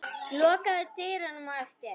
Lokaðu dyrunum á eftir þér.